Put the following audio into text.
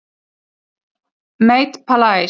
MATE PALAIS